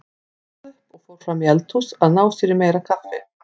Hún stóð upp og fór fram í eldhús að ná sér í meira kaffi.